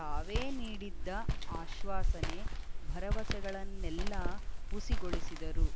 ತಾವೇ ನೀಡಿದ್ದ ಆಶ್ವಾಸನೆ ಭರವಸೆಗಳನ್ನೆಲ್ಲಾ ಹುಸಿಗೊಳಿಸಿದರು